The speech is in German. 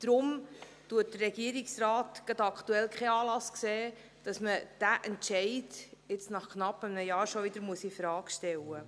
Deshalb sieht der Regierungsrat aktuell keinen Anlass, diesen Entscheid nach rund einem Jahr schon wieder infrage zu stellen.